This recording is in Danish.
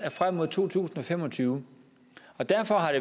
frem mod to tusind og fem og tyve og derfor har